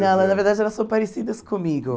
Não na verdade, elas são parecidas comigo.